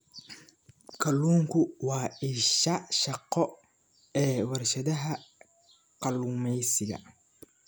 Kalluunku waa isha shaqo ee warshadaha kalluumeysiga.